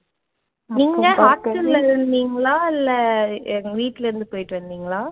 நீங்க hostel ல இருந்தீங்களா இல்ல வீட்டுல இருந்து போயிட்டு வந்தீங்களா?